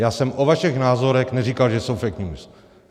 Já jsem o vašich názorech neříkal, že jsou fake news.